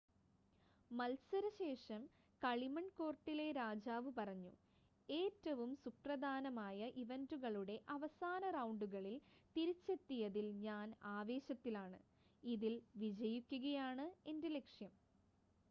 "മത്സര ശേഷം കളിമൺ കോർട്ടിലെ രാജാവ് പറഞ്ഞു "ഏറ്റവും സുപ്രധാന ഇവന്റുകളുടെ അവസാന റൗണ്ടുകളിൽ തിരിച്ചെത്തിയതിൽ ഞാൻ ആവേശത്തിലാണ്. ഇതിൽ വിജയിക്കുകയാണ് എന്റെ ലക്ഷ്യം.""